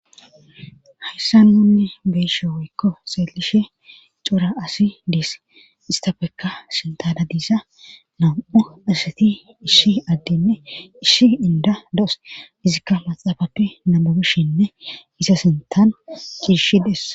hayssan nuni beyshe woykko seelishe cora asi dees istafekka sintana diisa nam7o asati ishi addinne ishi inda da7os izikka maxaabape nababeshinne isa sintan ciishi dess